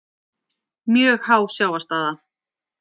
Mjög há sjávarstaða